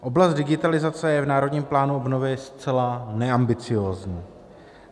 Oblast digitalizace je v Národním plánu obnovy zcela neambiciózní.